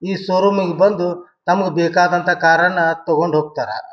ಈ ಶೋರೂಮ್ ಇಂಗ್ ಬಂದು ತಮ್ಮಗೆ ಬೇಕಾದಂತ ಕಾರ್ ಅನ್ನ ತೊಕೊಂಡ ಹೋಗತ್ತರ.